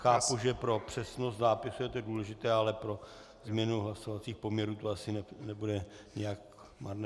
Chápu, že pro přesnost zápisu je to důležité, ale pro změnu hlasovacích poměrů to asi nebude nijak marné.